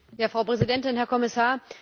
Frau Präsidentin, Herr Kommissar!